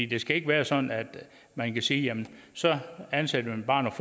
det skal ikke være sådan at man kan sige så ansætter vi bare